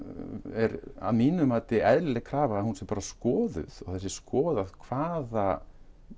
er að mínu mati eðlileg krafa að hún sé skoðuð sé skoðuð og hvaða